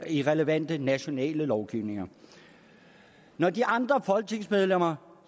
i relevante nationale lovgivninger når de andre folketingsmedlemmer